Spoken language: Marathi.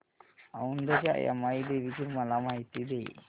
औंधच्या यमाई देवीची मला माहिती दे